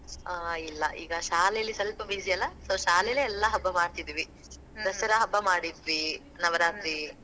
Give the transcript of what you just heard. ಹಾ ಇಲ್ಲಾ ಈಗ ಶಾಲೇಲಿ, ಸ್ವಲ್ಪ busy ಅಲ್ಲಾ, so ಶಾಲೇಲೆ ಎಲ್ಲಾ ಹಬ್ಬಾ ಮಾಡ್ತಿದಿವಿ. ಹಬ್ಬಾ ಮಾಡಿದ್ವಿ, ನವರಾತ್ರಿ.